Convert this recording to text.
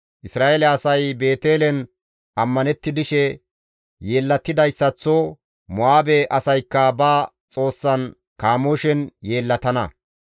Isra7eele asay Beetelen ammanetti dishe yeellatidayssaththo Mo7aabe asaykka ba xoossan Kamooshen yeellatana.